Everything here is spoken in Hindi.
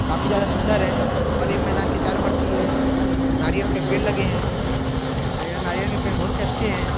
काफी ज्यादा सुंदर है। और ये मैदान के चारो पट्टी ओर नारियल के पेड़ लगे है। और ये नारियल के पेड़ बोहोत ही अच्छे है।